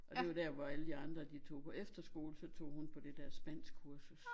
Og det jo der hvor alle de andre de tog på efterskole så tog hun på det der spansk kursus